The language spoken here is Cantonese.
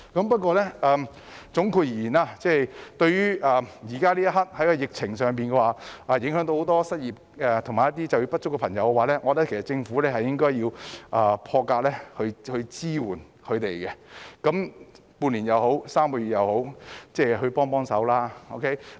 不過，總括而言，在疫情肆虐下，很多人失業和就業不足，我認為政府應該以破格的方式支援他們，無論是半年或3個月也好，請給他們一些支援。